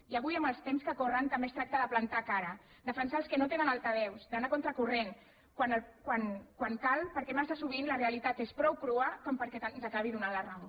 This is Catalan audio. i avui amb els temps que corren també es tracta de plantar cara de defensar els que no tenen altaveu d’anar a contracorrent quan cal perquè massa sovint la realitat és prou crua perquè ens acabi donant la raó